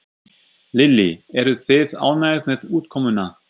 Lillý: Eruð þið ánægð með útkomuna?